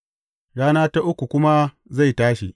A rana ta uku kuma zai tashi.